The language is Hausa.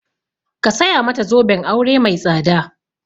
Ka saya mata zoben aure mai tsada!